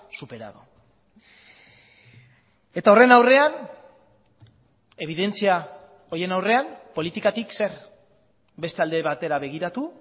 superado eta horren aurrean ebidentzia horien aurrean politikatik zer beste alde batera begiratu